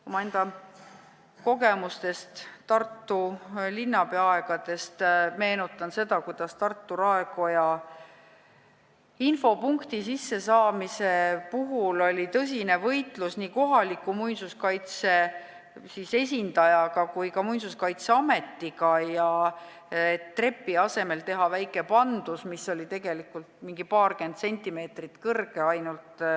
Omaenda kogemustest Tartu linnapea aegadest meenutan, kuidas Tartu raekoja infopunkti puhul oli tõsine võitlus nii kohaliku muinsuskaitse esindajaga kui ka Muinsuskaitseametiga, et trepi asemele tehtaks väike pandus, mis oli tegelikult ainult paarkümmend sentimeetrit kõrge.